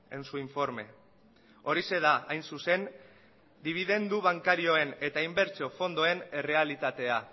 en su informe horixe da hain zuzen dibidendu bankarioen eta inbertsio fondoen errealitatea